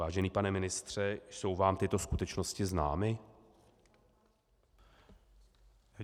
Vážený pane ministře, jsou vám tyto skutečnosti známy?